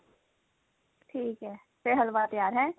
ਠੀਕ ਹੈ ਫੇਰ ਹਲਵਾ ਤਿਆਰ ਹੈਂ